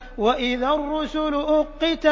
وَإِذَا الرُّسُلُ أُقِّتَتْ